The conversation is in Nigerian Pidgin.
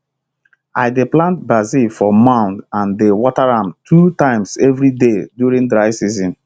i dey plant basil for mound and dey water am two times every day during dry season